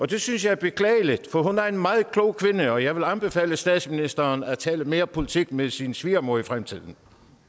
det synes jeg er beklageligt for hun er en meget klog kvinde og jeg vil anbefale statsministeren at tale mere politik med sin svigermor i fremtiden